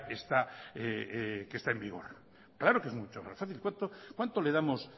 está en vigor claro que es mucho más fácil cuánto le damos